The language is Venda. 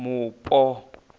mupo